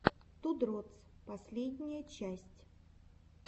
ту дротс последняя часть